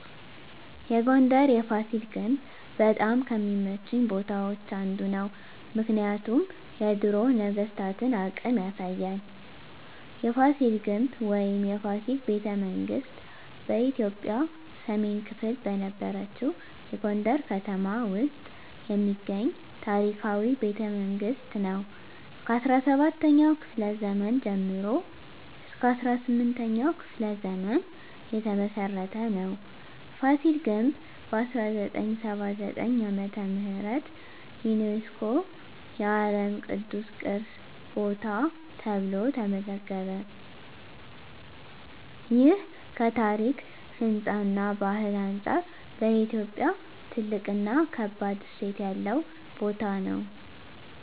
የጎንደር የፋሲል ግንብ በጣም ከሚመቹኝ ቦታዎች አንዱ ነው። ምክንያቱም የድሮ ነገስታቶን አቅም ያሳያል። የፋሲል ግንብ ወይም “የፋሲል ቤተመንግስት ” በኢትዮጵያ ሰሜን ክፍል በነበረችው የጎንደር ከተማ ውስጥ የሚገኝ ታሪካዊ ቤተመንግስት ነው። ከ17ኛው ክፍለ ዘመን ጀምሮ እስከ 18ኛው ክፍለ ዘመን የተመሰረተ ነው። ፋሲል ግንብ በ1979 ዓ.ም. ዩነስኮ የዓለም ቅዱስ ቅርስ ቦታ ተብሎ ተመዘገበ። ይህ ከታሪክ፣ ህንፃ እና ባህል አንጻር ለኢትዮጵያ ትልቅ እና ከባድ እሴት ያለው ቦታ ነው።